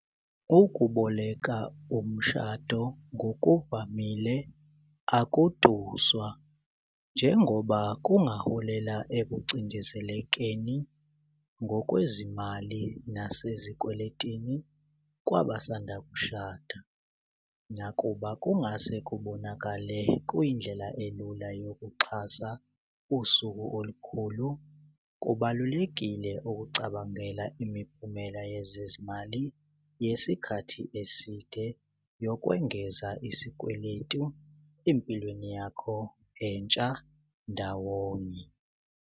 Ukuboleka umshado ngokuvamile akuduswa njengoba kungaholela ekucindezelekeni ngokwezimali nasezikweletini kwabasanda kushada. Nakuba kungase kubonakale kuyindlela elula yokuxhasa usuku olukhulu kubalulekile ukucabangela imiphumela yezezimali yesikhathi eside yokwengeza isikweletu empilweni yakho entsha ndawonye.